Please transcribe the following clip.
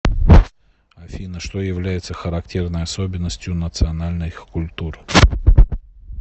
афина что является характерной особенностью национальных культур